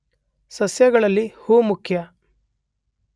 ಸಸ್ಯಗಳಲ್ಲಿ ಹೂ ಮುಖ್ಯ